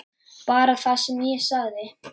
Bara það sem ég sagði.